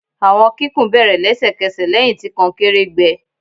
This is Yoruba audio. Awọn kikun bere lẹsẹkẹsẹ lẹhin ti konkere gbẹ